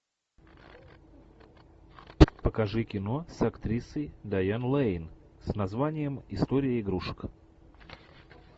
покажи кино с актрисой дайан лэйн с названием история игрушек